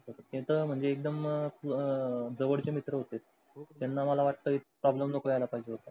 त्यांच्या म्हणजे एकदम अं जवडचे मित्र होते हो त्यांना मला वाटते problem नको याला पाहिजे होता.